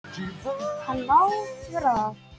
Hann má vera það.